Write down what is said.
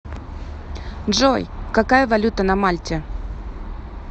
джой какая валюта на мальте